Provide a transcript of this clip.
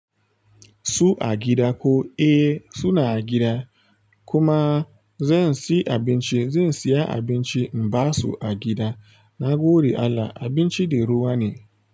Su a gida ko? Eh suna a gida. Kuma zan siyi abinci zan saya abinci in ba su a gida. Nagode Allah abinci da ruwa ne.